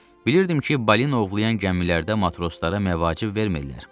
Bilirdim ki, balina ovlayan gəmilərdə matroslara məvacib vermirlər.